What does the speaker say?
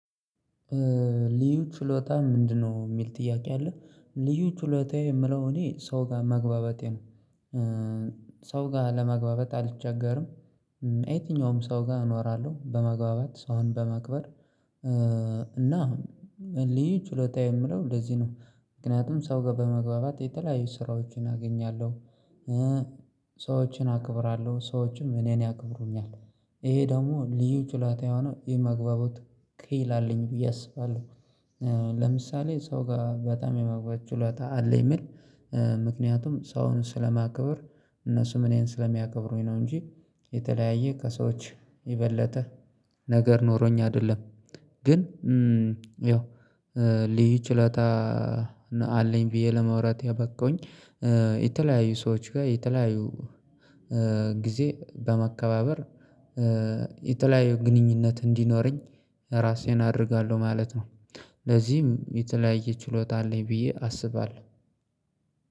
ልዩ ችሎታ ምንድነው? የሚል ጥያቄ አለ ልዩ ችሎታዬ የምለው እኔ ሰው ጋር መግባባቴ ነው። ሰው ጋር ለመግባባት አልቸገርም የትኛውም ሰው ጋር እኖራለሁ በመግባባት ሰው በማክበር። እና ልዩ ችሎታዬ የምለው እንደዚህ ነው። ምክንያቱም ሰው ጋር በመግባባት የተለያዩ ስራዎችን አገኛለሁ። ሰዎችን አክብራለሁ ሰዎችም እኔን ያከብሩኛል። ይሄ ደግሞ ልዩ ችሎታ የሆነው ይሄ መግባቡት ክሂል አለኝ ብዬ አስባለሁ። ለምሳሌ ሰው ጋር በጣም የማግባት ችሎታ አለኝ የሚል ምክንያቱም ሰውን ስለማከብር እነሱም እኔን ስለሚያከብሩኝ ነው እንጂ የተለያየ ከሰዎች ይበጠ ነገር ኖሮኝ አይደለም። ግን ያው ልዩ ችሎታ እለታ አለኝ ብዬ ለመውራት ያበቃሁኝ የተለያዩ ሰዎች ጋር የተለያዩ ጊዜ በመከባበር የተለያዩ ግንኙነት እንዲኖረኝ ራሴን አደርጋለሁ ማለት ነው። ለዚህም የተለያየ ችሎታ አለኝ ብዬ አስባለሁ።